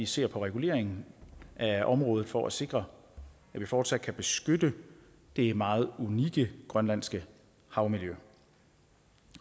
se på reguleringen af området for at sikre at vi fortsat kan beskytte det meget unikke grønlandske havmiljø